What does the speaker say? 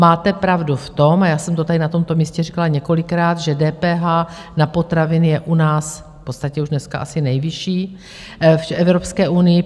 Máte pravdu v tom, a já jsem to tady na tomto místě říkala několikrát, že DPH na potraviny je u nás v podstatě už dneska asi nejvyšší v Evropské unii.